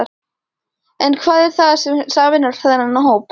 En hvað er það sem sameinar þennan hóp?